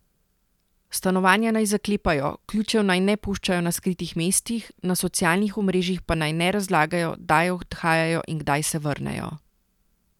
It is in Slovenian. Stanovanja naj zaklepajo, ključev naj ne puščajo na skritih mestih, na socialnih omrežjih pa naj ne razlagajo, kdaj odhajajo in kdaj se vrnejo.